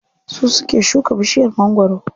Su suke shuka bishiyar mangwaro.